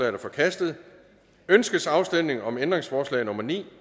er forkastet ønskes afstemning om ændringsforslag nummer ni